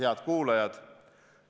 Head kuulajad!